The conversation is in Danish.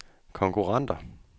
konkurrenter